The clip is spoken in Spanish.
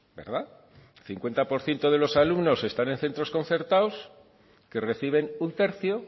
verdad cincuenta por ciento de los alumnos están en centros concertados que reciben un tercio